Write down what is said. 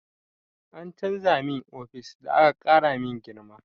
An canza min ofis da aka ƙara min girma.